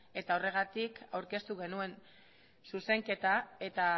eta horregatik aurkeztu genuen zuzenketa eta